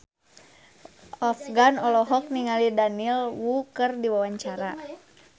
Afgan olohok ningali Daniel Wu keur diwawancara